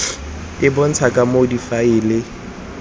e bontshang ka moo difaele